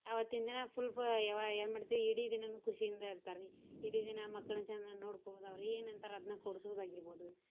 ಅವತ್ತಿನ್ ದಿನಾ full ಫಯಿ~ಯಾ~ ವಾ~ ಎನ್ ಮಾಡ್ತೀವಿ ಇಡೀ ದಿನಾನೂ ಖುಷಿ ಇಂದ ಇರ್ತಾರಿ ಇಡೀ ದಿನಾ ಮಕ್ಕಳ್ನ ಚಂದಂಗ ನೋಡ್ಕೊಳೋದು ಅವ್ರ ಎನ್ ಅಂತರ್ ಅದ್ನ ಕೊಡ್ಸುದ್ ಆಗೀರ್ಬೋದು.